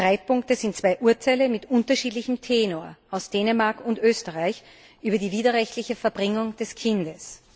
Streitpunkte sind zwei Urteile mit unterschiedlichem Tenor aus Dänemark und Österreich über die widerrechtliche Verbringung des Kindes.